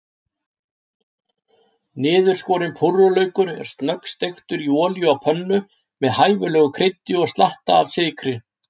Niðurskorinn púrrulaukur er snöggsteiktur í olíu á pönnu, með hæfilegu kryddi og slatta af sykri.